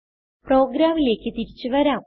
പ്രോഗ്രാമിലേക്ക് തിരിച്ചു വരാം